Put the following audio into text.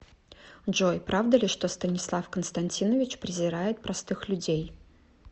джой правда ли что станислав константинович презирает простых людей